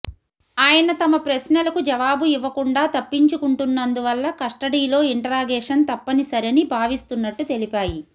ఆయన తమ ప్రశ్నలకు జవాబు ఇవ్వకుండా తప్పించుకుంటున్నందువల్ల కస్టడీలో ఇంటరాగేషన్ తప్పనిసరని భావిస్తున్నట్టు తెలిపాయి